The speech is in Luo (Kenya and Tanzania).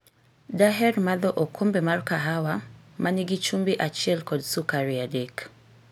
Daher madho okombe mar kahawa ma nigi chumbi achiel kod sukari adek.